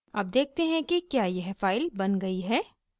अब देखते हैं कि क्या यह फाइल बन गयी है